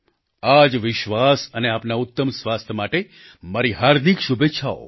આ જ વિશ્વાસ સાથે આપના ઉત્તમ સ્વાસ્થ્ય માટે મારી હાર્દિક શુભેચ્છાઓ